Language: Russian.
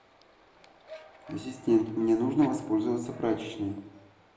ассистент мне нужно воспользоваться прачечной